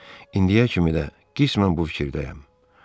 İndiyə kimi də qismən bu fikirdəyəm.